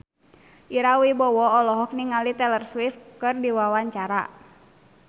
Ira Wibowo olohok ningali Taylor Swift keur diwawancara